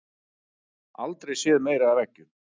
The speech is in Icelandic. Aldrei séð meira af eggjum